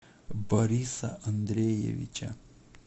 бориса андреевича